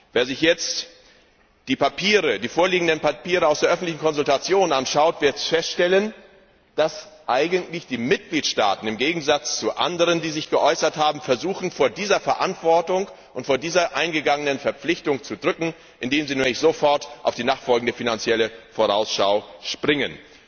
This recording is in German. Wer sich jetzt die vorliegenden Papiere aus der öffentlichen Konsultation anschaut, wird feststellen, dass die Mitgliedstaaten im Gegensatz zu anderen, die sich geäußert haben, versuchen, sich vor dieser Verantwortung und vor dieser eingegangenen Verpflichtung zu drücken, indem sie sofort auf die nachfolgende Finanzielle Vorausschau springen.